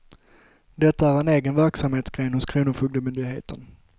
Detta är en egen verksamhetsgren hos kronofogdemyndigheten.